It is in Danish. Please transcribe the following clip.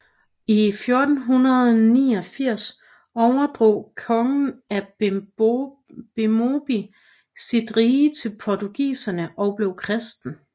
I 1489 overdrog kongen af Bemobi sit rige til portugiserne og blev kristen